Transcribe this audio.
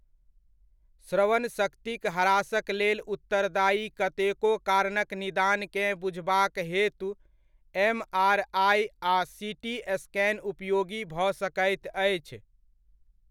श्रवण शक्तिक ह्रासक लेल उत्तरदायी कतेको कारणक निदानकेँ बुझबाक हेतु एमआरआइ आ सीटी स्कैन उपयोगी भऽ सकैत अछि।